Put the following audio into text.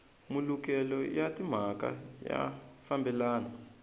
malukelo ya timhaka ya fambelana